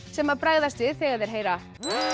sem bregðast við þegar þeir heyra